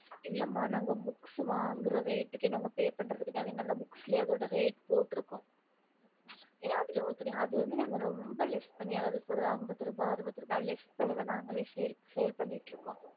இல்ல ம நாங்க book வாங்குற rate seale பண்றது கிடையாது வாங்கறது விட அறுவதுரரூபா ஐம்பதுரூபா கம்மியதா தரும்